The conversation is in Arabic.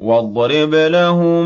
۞ وَاضْرِبْ لَهُم